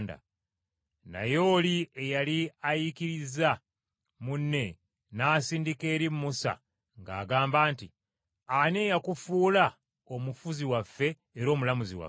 “Naye oli eyali ayiikiriza munne n’asindika eri Musa ng’agamba nti, ‘Ani eyakufuula omufuzi waffe era omulamuzi waffe?